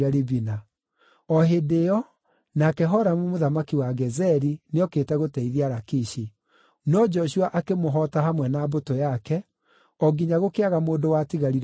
O hĩndĩ ĩyo, nake Horamu mũthamaki wa Gezeri nĩokĩte gũteithia Lakishi, no Joshua akĩmũhoota hamwe na mbũtũ yake, o nginya gũkĩaga mũndũ watigarire muoyo.